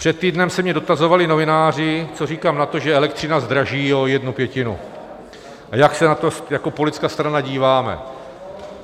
Před týdnem se mě dotazovali novináři, co říkám na to, že elektřina zdraží o jednu pětinu, a jak se na to jako politická strana díváme.